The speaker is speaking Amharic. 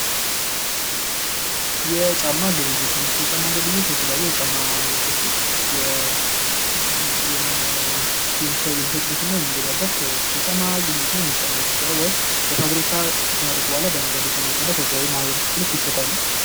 የጫማ ግብይት እንግዲህ የጫማ ግብይት የተለያዩ ጫማ አይነቶችን የምንሸጥበት እና የምንገዛበት የጫማ ግብይት ነው። በፋብሪካ ከተመረቱ በኋላ በነጋዴ አማካኝነት ለህበረሰብ ይሸጣሉ።